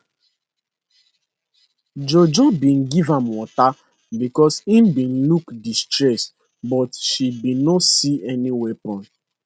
jojo bin give am water becos im bin look distressed but she bin no see any weapon